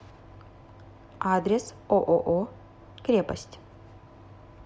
адрес ооо крепость